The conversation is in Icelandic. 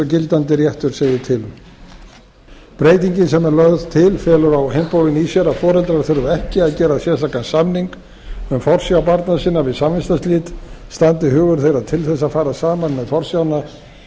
gildandi réttur segir til um breytingin sem er lögð til felur á hinn bóginn í sér að foreldrar þurfa ekki að gera sérstakan samning um forsjá barna sinna við samvistarslit standi hugur þeirra til þess að fara saman með forsjána heldur verður hún að